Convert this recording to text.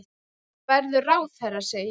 Þú verður ráðherra, segi ég.